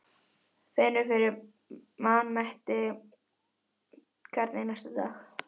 Finnur fyrir vanmætti hvern einasta dag.